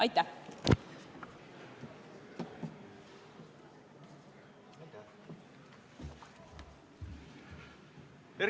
Aitäh!